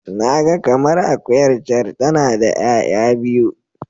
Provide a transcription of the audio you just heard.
Na ga kamar akuyar can tana da 'ya'ya biyu.